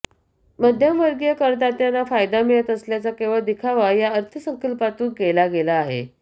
मध्यमवर्गीय करदात्यांना फायदा मिळत असल्याचा केवळ दिखावा या अर्थसंकल्पातून केला गेला आहे